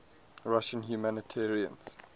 russian humanitarians